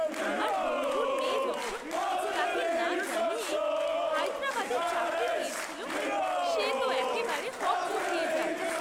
আমার বন্ধুর মেয়ে যখন তাকে না জানিয়েই হায়দরাবাদে চাকরি নিয়েছিল সে তো একেবারে হকচকিয়ে যায়!